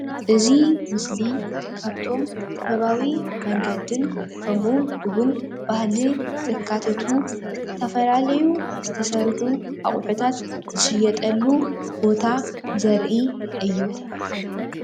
እዚ ምስሊ ካብቶም ጥበባዊ መንገድን ከምኡ'ውን ባህሊ ዘካተቱ ዝተፈላለዩ ዝተሰርሑ ኣቁሑታት ዝሽየጠሉ ቦታ ዘርኢ እዩ።